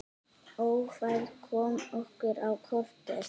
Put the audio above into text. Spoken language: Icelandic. Ófærð kom okkur á kortið.